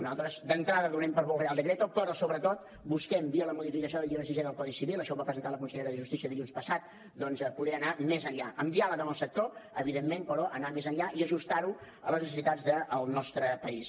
nosaltres d’entrada donem per bo el real decreto però sobretot busquem via la modificació del llibre sisè del codi civil això ho va presentar la consellera de justícia dilluns passat doncs poder anar més enllà amb diàleg amb el sector evidentment però anant més enllà i ajustar ho a les necessitats del nostre país